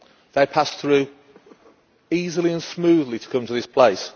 They passed through easily and smoothly to come to this place.